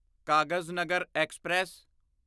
Kagaznagar express